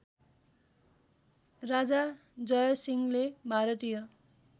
राजा जयसिंहले भारतीय